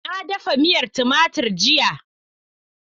Na dafa miya tumatur jiya.